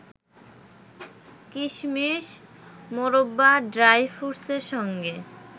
কিশমিশ, মোরব্বা, ড্রাই ফ্রুটসের সঙ্গে